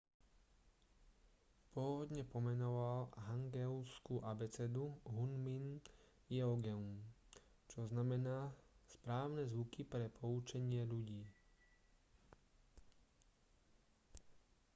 pôvodne pomenoval hangeulskú abecedu hunmin jeongeum čo znamená správne zvuky pre poučenie ľudí